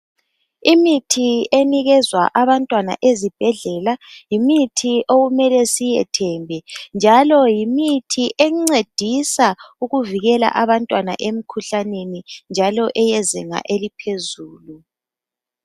Imithi enikezwa abantwana ezibhedlela yimithi okumele siyethembe njalo yimithi encedisa ukuvikela abantwana emikhuhlaneni njalo eyezinga eliphezulu.